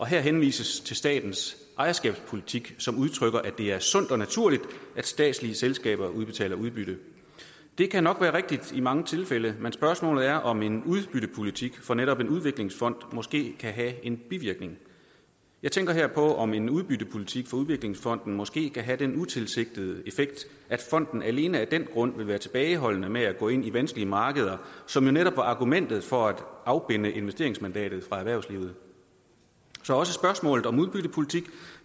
her henvises til statens ejerskabspolitik som udtrykker at det er sundt og naturligt at statslige selskaber udbetaler udbytte det kan nok i mange tilfælde være men spørgsmålet er om en udbyttepolitik for netop en udviklingsfond måske kan have en bivirkning jeg tænker her på om en udbyttepolitik for udviklingsfonden måske kan have den utilsigtede effekt at fonden alene af den grund vil være tilbageholdende med at gå ind i vanskelige markeder som jo netop var argumentet for at afbinde investeringsmandatet fra erhvervslivet så også spørgsmålet om udbyttepolitik